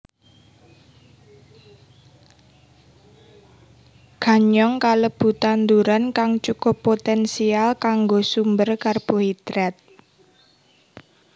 Ganyong kalebu tanduran kang cukup poténsial kanggo sumber karbohidrat